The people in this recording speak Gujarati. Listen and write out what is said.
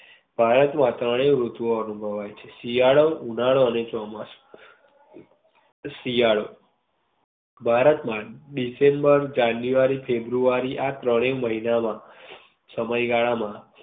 ભારત માં ત્રણેય ઋતુ ઓ અનુભવાય છે. શિયાળો ઉનાળો અને ચોમાસુ શિયાળો ભારત માં ડિસેમ્બર, જનયુઆરી, ફેબ્રુઆરી આ ત્રણેય મહિના માં સમય ગાળા માં